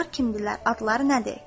Onlar kimdirlər, adları nədir?